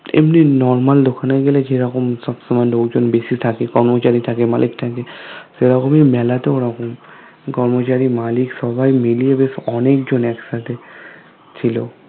এমনি normal দোকানে গেলে যেইরকম সব সময় লোকজন বেশি থাকে কর্মচারী থাকে মালিক থাকে সেইরকমী মেলাতেও ওরকম কর্মচারী মালিক সবাই মিলিয়ে বেশ অনেক জোন একসাথে ছিলো